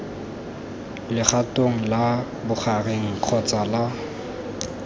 legatong la bogareng kgotsa la